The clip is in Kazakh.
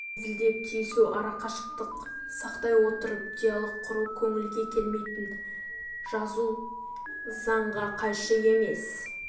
ал әзілдеп тиісу арақашықтық сақтай отырып диалог құру көңілге келмейтін жазу заңға қайшы емес